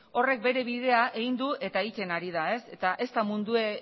horrek bere bidea egin du eta egiten ari da eta ez da mundua